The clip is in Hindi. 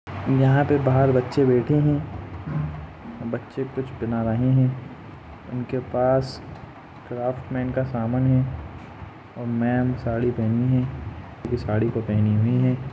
यहाँ पे बहार बच्चे बैठे है बच्चे कुछ बना रहे है उनके पास क्राफ्ट मेन का सामन है मेम साडी पेहनी है साड़ी को पेहनी हुई है।